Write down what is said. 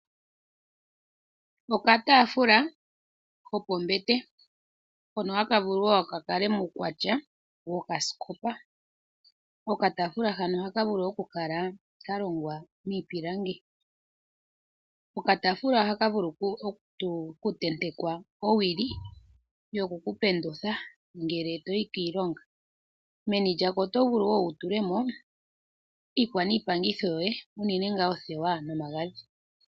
Okataafula ko pombete, hono haka vulu wo ka kale muukwatya wokasikopa. Okataafula hano ohaka vulu okukala ka longwa miipilangi. Okataafula ohaka vulu okutentekwa owili yoku ku pendutha ngele to yi kiilonga. Meni lyako oto vulu wo wu tule mo iikwaniipangitho, unene tuu oothewa nomagadhi.